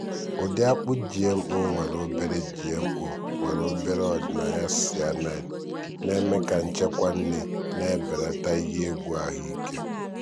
ụdị akpu gmo nwere obere gmo nwere obere ọdịnaya cyanide na-eme ka nchekwa nri na-ebelata ihe egwu ahụike.